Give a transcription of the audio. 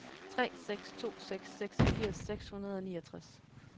tre seks to seks seksogfirs seks hundrede og niogtres